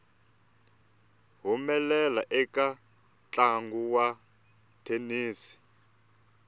humelela eka ntlangu wa thenisi